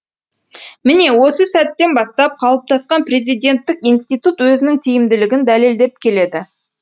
міне осы сәттен бастап қалыптасқан президенттік институт өзінің тиімділігін дәлелдеп келеді